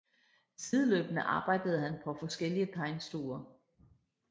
Sideløbende arbejdede han på forskellige tegnestuer